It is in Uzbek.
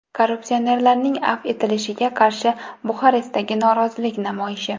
Korrupsionerlarning afv etilishiga qarshi Buxarestdagi norozilik namoyishi.